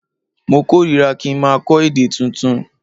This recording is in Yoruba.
Mo kórira ki n maa kó̩ èdè tuntun